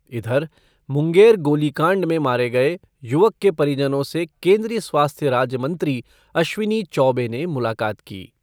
इधर, मुंगेर गोलीकांड में मारे गये युवक के परिजनों से केन्द्रीय स्वास्थ्य राज्यमंत्री अश्विनी चौबे ने मुलाकात की।